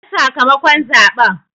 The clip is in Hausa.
Ban sakamakon zaɓen!